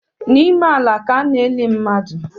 N’ime ala ka a na-eni mmadụ